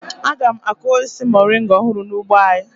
Aga m akụ osisi moringa ọhụrụ n'ugbo anyị.